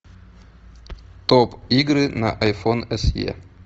топ игры на айфон эс е